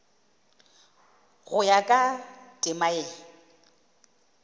go ya ka temana ye